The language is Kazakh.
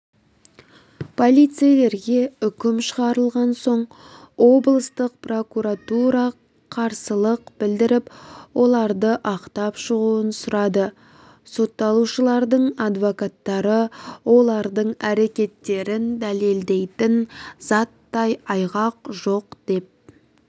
полицейлерге үкім шығарылған соң облыстық прокуратура қарсылық білдіріп оларды ақтап шығуын сұрады сотталушылардың адвокаттары олардың әрекеттерін дәлелдейтін заттай айғақ жоқ деп